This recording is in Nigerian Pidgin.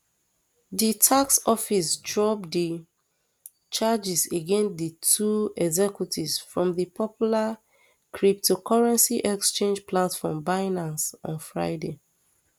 di tax office drop di um charges against di two executives from di popular cryptocurrency exchange platform binance on friday